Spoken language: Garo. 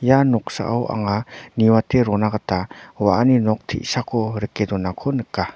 ia noksao anga niwate rona gita wa·ani nok te·sako rike donako nika.